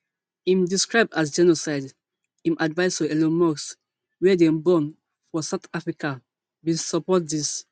im describe as genocide im advisor elon musk wia dem born for south africa bin support dis